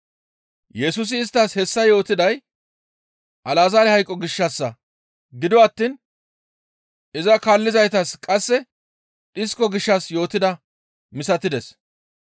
Yesusi isttas hessa yootiday Alazaare hayqo gishshassa; gido attiin iza kaallizaytas qasse dhisko gishshas yootidaa misatides.